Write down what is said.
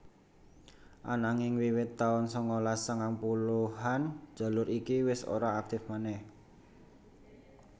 Ananging wiwit taun sangalas sangang puluhan jalur iki wis ora aktif manèh